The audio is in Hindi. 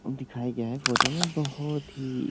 दिखाया गया है फोटो में बोहोत ही --